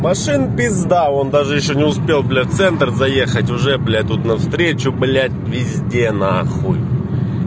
машин пизда вон даже ещё не успел бля в центр заехать уже бля тут навстречу блять везде нахуй